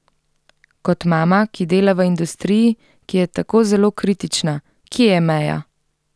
Kot mama, ki dela v industriji, ki je tako zelo kritična, kje je meja?